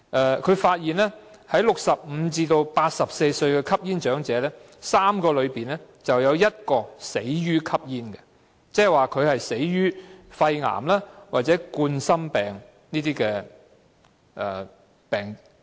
研究發現在65歲至84歲的吸煙長者中，每3個便有1個死於吸煙，即死於肺癌或冠心病等疾病。